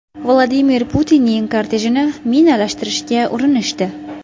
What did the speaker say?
Vladimir Putinning kortejini minalashtirishga urinishdi.